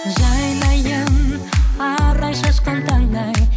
жайнайын арай шашқан таңдай